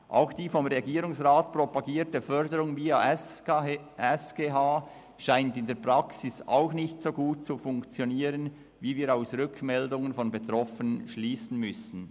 Auch die vom Regierungsrat propagierte Förderung via SGH scheint in der Praxis nicht so gut zu funktionieren, wie wir aus Rückmeldungen von Betroffenen schliessen müssen.